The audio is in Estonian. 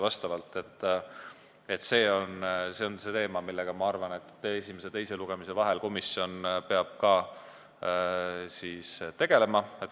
Ma arvan, et see on teema, millega esimese ja teise lugemise vahel peab ka komisjon tegelema.